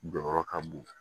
Jɔyɔrɔ ka bon